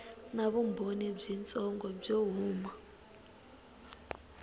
na vumbhoni byitsongo byo huma